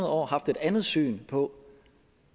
år har haft et andet syn på